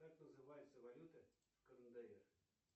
как называется валюта в кндр